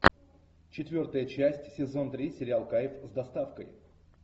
четвертая часть сезон три сериал кайф с доставкой